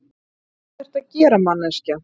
Hvað ertu að gera, manneskja?